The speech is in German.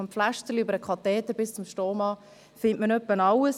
Von Pflastern über Katheter bis zu Stomaartikeln findet man dort fast alles.